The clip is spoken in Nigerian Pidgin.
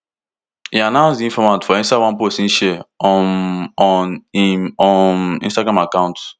e announce di informate for inside one post e share um on im um instagram account